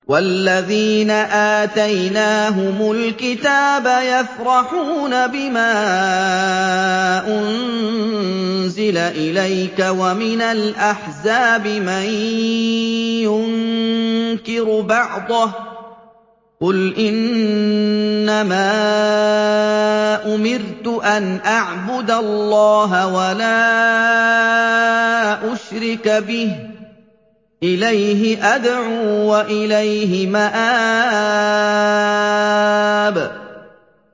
وَالَّذِينَ آتَيْنَاهُمُ الْكِتَابَ يَفْرَحُونَ بِمَا أُنزِلَ إِلَيْكَ ۖ وَمِنَ الْأَحْزَابِ مَن يُنكِرُ بَعْضَهُ ۚ قُلْ إِنَّمَا أُمِرْتُ أَنْ أَعْبُدَ اللَّهَ وَلَا أُشْرِكَ بِهِ ۚ إِلَيْهِ أَدْعُو وَإِلَيْهِ مَآبِ